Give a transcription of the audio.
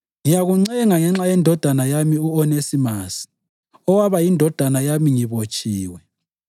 ngiyakuncenga ngenxa yendodana yami u-Onesimasi owaba yindodana yami ngibotshiwe.